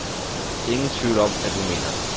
Ingen tvivl om, at hun mener det.